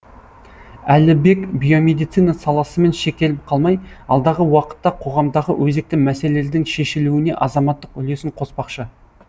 әлібек биомедицина саласымен шектеліп қалмай алдағы уақытта қоғамдағы өзекті мәселелердің шешілуіне азаматтық үлесін қоспақшы